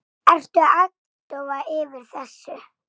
Ertu agndofa yfir þessu?